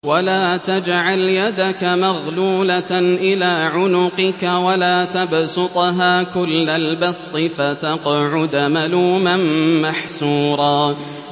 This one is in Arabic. وَلَا تَجْعَلْ يَدَكَ مَغْلُولَةً إِلَىٰ عُنُقِكَ وَلَا تَبْسُطْهَا كُلَّ الْبَسْطِ فَتَقْعُدَ مَلُومًا مَّحْسُورًا